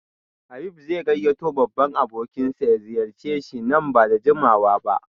Habib zai gayyato babban abokinsa ya ziyarce shi nan ba da jimawa ba